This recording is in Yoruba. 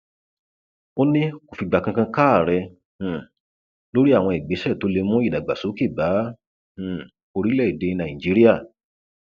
ó ní kó fìgbà kankan káàárẹ um lórí àwọn ìgbésẹ tó lè mú ìdàgbàsókè bá um orílẹèdè nàíjíríà